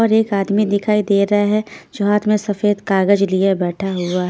और एक आदमी दिखाई दे रहा हैं जो हाथ में सफेद कागज लिए बैठा हुआ--